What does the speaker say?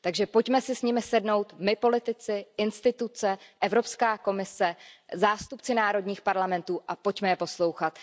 Takže pojďme si s nimi sednout my politici, instituce, Evropská komise, zástupci národních parlamentů a pojďme je poslouchat.